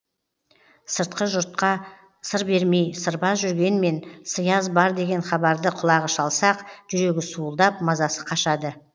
сыртқы жұртқа сыр бермей сырбаз жүргенмен сыяз бар деген хабарды құлағы шалса ақ жүрегі суылдап мазасы қашады